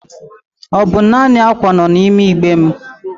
Ọ bụ naanị ákwà nọ n'ime igbe m.